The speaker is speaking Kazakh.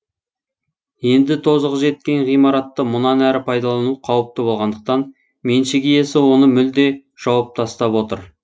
енді тозығы жеткен ғимаратты мұнан әрі пайдалану қауіпті болғандықтан меншік иесі оны мүлде жауып тастап отыр